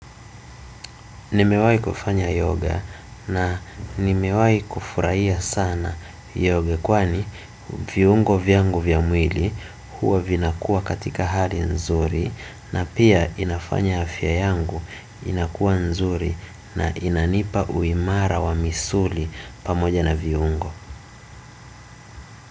Nimewahi kufanya yoga na nimewahi kufurahia sana yoga kwani viungo vyangu vya mwili huwa vinakuwa katika hali nzuri na pia inafanya afya yangu inakuwa nzuri na inanipa uimara wa misuli pamoja na viungo.